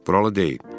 Buralı deyil.